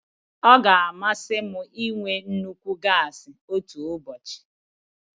Ọ ga-amasị m ịnwe nnukwu gasi otu ụbọchị.